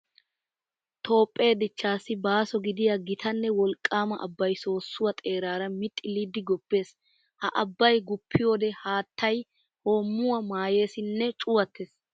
Toophphee dichchaassi baaso gidiya gita nne wolqqaama abbay soossuwa xeeraara mixxilliiddi guppees. Ha abbay guppiyoode haattay hoommuwa maayeesi nne cuwattes.